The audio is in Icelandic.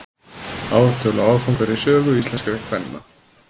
ártöl og áfangar í sögu íslenskra kvenna